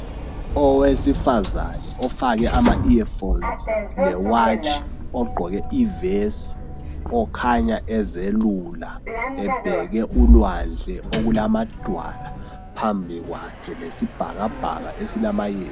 Owesifazane ofake ama earphones le watch ogqoke ivesi. Okhanya ezelula, ebheke ulwandle okulamadwala phambi kwakhe lesibhakabhaka esilamayezi.